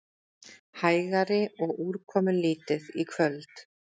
Hægari og úrkomulítið í kvöld